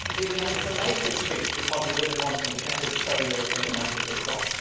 He was not even able to make his speech because you did not want him to get his pro European message across.